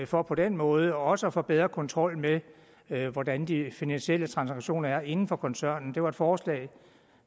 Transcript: for på den måde også at få bedre kontrol med med hvordan de finansielle transaktioner er inden for koncernen det er et forslag